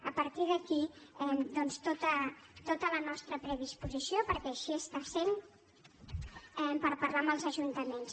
a partir d’aquí doncs tota la nostra predisposició perquè així està sent per parlar amb els ajuntaments